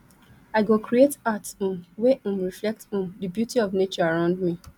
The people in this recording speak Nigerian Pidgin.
i go create art um wey um reflect um di beauty of nature around me